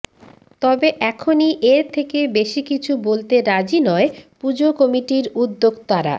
তবে এখনই এর থেকে বেশি কিছু বলতে রাজি নয় পুজো কমিটির উদ্যোক্তারা